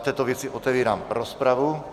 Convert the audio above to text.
V této věci otevírám rozpravu.